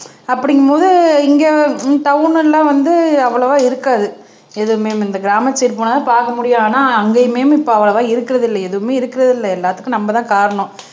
அப்படிங்கும்போது இங்க டவுனு எல்லாம் வந்து அவ்வளவா இருக்காது எதுவுமே இந்த கிராமத்து சைடு போனாதான் பாக்க முடியும் ஆனா அங்கயுமே இப்ப அவ்வளவா இருக்கறது இல்ல எதுவுமே இருக்கறது இல்ல எல்லாத்துக்கும் நம்மதான் காரணம்